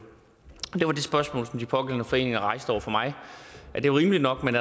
spørgsmål som de pågældende foreninger rejste over for mig at det var rimeligt nok men